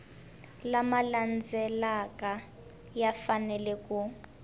lama landzelaka ya fanele ku